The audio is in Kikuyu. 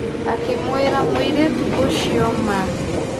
Akĩ mwĩra mũirĩtu ũcio ma.